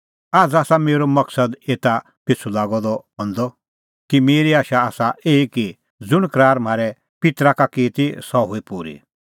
आझ़ आसा मेरअ मकदमअ एता पिछ़ू लागअ द हंदअ कि मेरी आशा आसा एही कि ज़ुंण करार परमेशरै म्हारै पित्तरा का की ती सह हुई पूरी